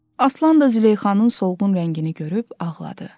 Aslan da Züleyxanın solğun rəngini görüb ağladı.